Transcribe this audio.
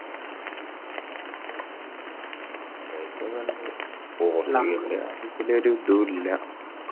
മ്മ് ആവേശക്കെയുണ്ട് പോർട്ടുഗലിന്റെ കാര്യത്തിൽ ഒരു ഇതുവില്ല